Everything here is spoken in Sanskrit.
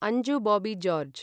अञ्जु बॉबी जार्ज